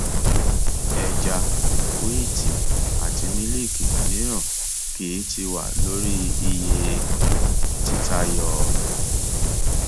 ẹja wíítì àti mílíìkì mìíràn kì í tii wà lórí iye títayọ